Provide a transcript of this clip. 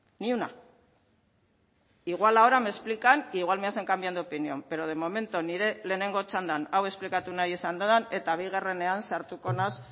ni una igual ahora me explican e igual me hacen cambiar de opinión pero de momento nire lehenengo txandan hau esplikatu nahi izan dut eta bigarrenean sartuko naiz